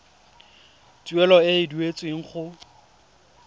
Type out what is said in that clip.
tuelo e e duetsweng go